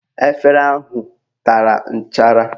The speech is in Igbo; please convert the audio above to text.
Efere ahụ tara nchara